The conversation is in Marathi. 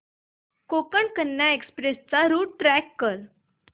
कोकण कन्या एक्सप्रेस चा रूट ट्रॅक कर